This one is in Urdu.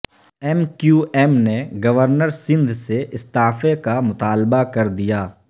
ایم کیو ایم نے گورنر سندھ سے استعفے کا مطالبہ کر دیا